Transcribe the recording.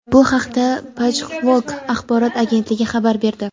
Bu haqda "Pajhwok" axborot agentligi xabar berdi.